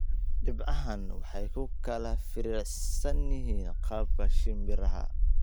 Dhibcahani waxay ku kala firirsan yihiin qaabka "shimbiraha".